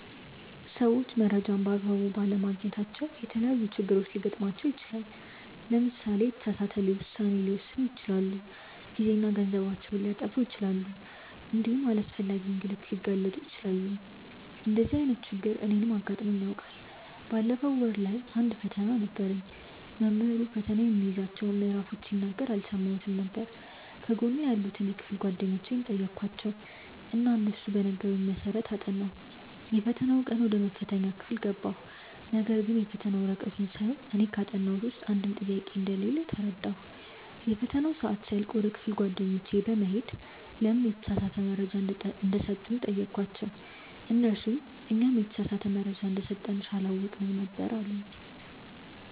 ሰዎች መረጃን በ አግባቡ ባለማግኘታቸው የተለያዪ ችግሮች ሊገጥማቸው ይችላል። ለምሳሌ የተሳሳተ ውሳኔ ሊወስኑ ይችላሉ፣ ጊዜና ገንዘባቸውን ሊያጠፉ ይችላሉ እንዲሁም ለአላስፈላጊ እንግልት ሊጋለጡ ይችላሉ። እንደዚህ አይነት ችግር እኔንም አጋጥሞኝ ያውቃል። ባለፈው ወር ላይ አንድ ፈተና ነበረኝ። መምህሩ ፈተናው የሚይዛቸውን ምዕራፎች ሲናገር አልሰማሁትም ነበር። ከጎኔ ያሉትን የክፍል ጓደኞቼን ጠየኳቸው እና እነሱ በነገሩኝ መሰረት አጠናሁ። የፈተናው ቀን ወደ መፈተኛ ክፍል ገባሁ ነገርግን የፈተና ወረቀቱን ሳየው እኔ ካጠናሁት ውስጥ አንድም ጥያቄ እንደሌለ ተረዳሁ። የፈተናው ሰአት ሲያልቅ ወደ ክፍል ጓደኞቼ በመሄድ ለምን የተሳሳተ መረጃ እንደሰጡኝ ጠየኳቸው እነርሱም "እኛም የተሳሳተ መረጃ እንደሰጠንሽ አላወቅንም ነበር አሉኝ"።